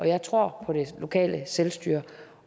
jeg tror på det lokale selvstyre